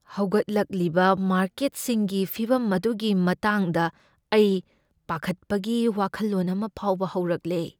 ꯍꯧꯒꯠꯂꯛꯂꯤꯕ ꯃꯥꯔꯀꯦꯠꯁꯤꯡꯒꯤ ꯐꯤꯚꯝ ꯑꯗꯨꯒꯤ ꯃꯇꯥꯡꯗ ꯑꯩ ꯄꯥꯈꯠꯄꯒꯤ ꯋꯥꯈꯜꯂꯣꯟ ꯑꯃ ꯐꯥꯎꯕ ꯍꯧꯔꯛꯂꯦ꯫